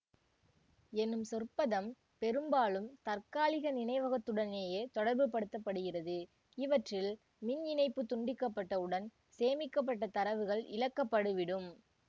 எனும் சொற்பதம் பெரும்பாலும் தற்காலிக நினைவகத்துடனேயே தொடர்புபடுத்தப்படுகிறது இவற்றில் மின் இணைப்பு துண்டிக்கப்பட்டவுடன் சேமிக்கப்பட்ட தரவுகள் இழக்கப்படுவிடும்